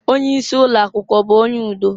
Onye isi ụlọakwụkwọ ọ bụ onye udo?